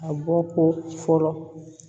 A bɔ ko fɔlɔ